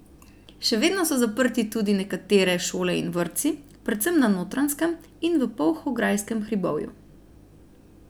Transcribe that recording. Še vedno so zaprti tudi nekatere šole in vrtci, predvsem na Notranjskem in v Polhograjskem hribovju.